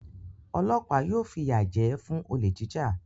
Ọlọ́pàá yóò fìyà jẹ ẹ́ fún olè jíjà.